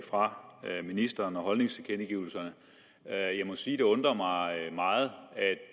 fra ministeren og holdningstilkendegivelserne jeg må sige at det undrer mig meget at